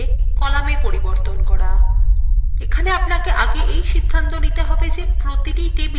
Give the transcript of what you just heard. এখানে আপনাকে সিদ্ধান্ত নিতে হবে প্রতিটি table আপনি ঠিক কোন তথ্য উপাদানগুলিকে রাখতে চান